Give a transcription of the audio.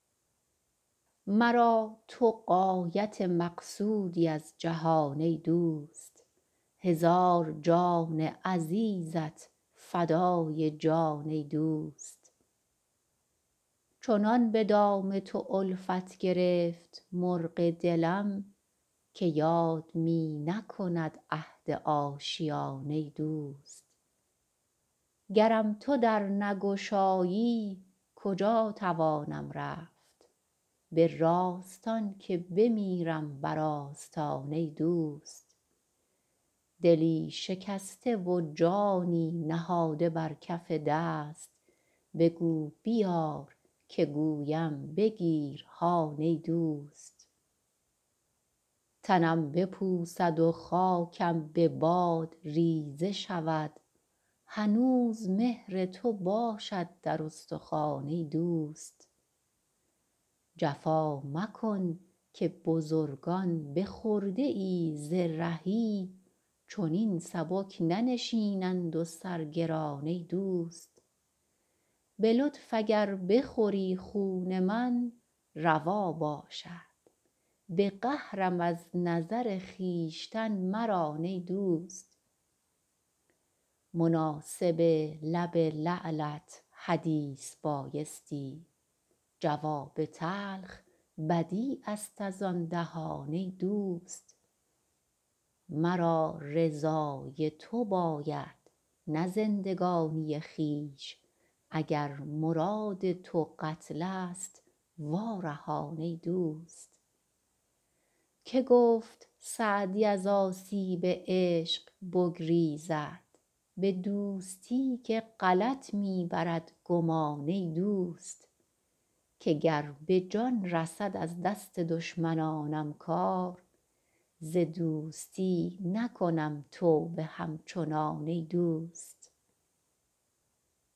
مرا تو غایت مقصودی از جهان ای دوست هزار جان عزیزت فدای جان ای دوست چنان به دام تو الفت گرفت مرغ دلم که یاد می نکند عهد آشیان ای دوست گرم تو در نگشایی کجا توانم رفت به راستان که بمیرم بر آستان ای دوست دلی شکسته و جانی نهاده بر کف دست بگو بیار که گویم بگیر هان ای دوست تنم بپوسد و خاکم به باد ریزه شود هنوز مهر تو باشد در استخوان ای دوست جفا مکن که بزرگان به خرده ای ز رهی چنین سبک ننشینند و سر گران ای دوست به لطف اگر بخوری خون من روا باشد به قهرم از نظر خویشتن مران ای دوست مناسب لب لعلت حدیث بایستی جواب تلخ بدیع است از آن دهان ای دوست مرا رضای تو باید نه زندگانی خویش اگر مراد تو قتل ست وا رهان ای دوست که گفت سعدی از آسیب عشق بگریزد به دوستی که غلط می برد گمان ای دوست که گر به جان رسد از دست دشمنانم کار ز دوستی نکنم توبه همچنان ای دوست